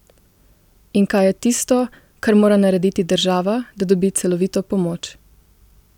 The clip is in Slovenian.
In kaj je tisto, kar mora narediti država, da dobi celovito pomoč?